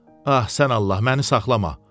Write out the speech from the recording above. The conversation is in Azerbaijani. Ax sən Allah məni saxlama.